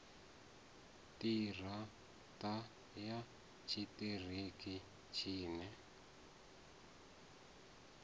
ṱira ṱa ya tshiṱiriki tshine